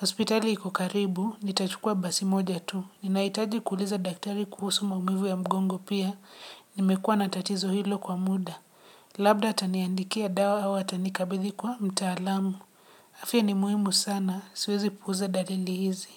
Hospitali iko karibu, nitachukua basi moja tu. Ninahitaji kuuliza daktari kuhusu maumivu ya mgongo pia, nimekuwa na tatizo hilo kwa muda. Labda ataniandikia dawa au atanikabidhi kwa mtaalamu. Afya ni muhimu sana. Siwezi puuza dalili hizi.